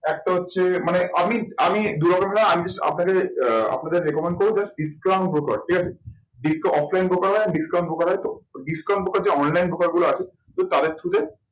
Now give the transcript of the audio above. একটা হচ্ছে মানে আমি, আমি আপনাকে আহ আপনাদের recommend করবো ঠিক আছে offline হয় তো যে online গুলো আছে তো তাদের through তে